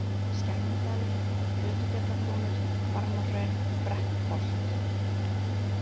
Skænudalur, Flötufjallabrúnir, Barmahraun, Brekknholt